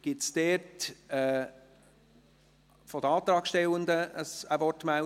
Gibt es seitens der Antragstellenden eine Wortmeldung?